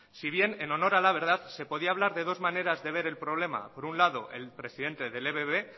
si bien al honor a la verdad se podía hablar de dos maneras de ver el problema por un lado el presidente del ebb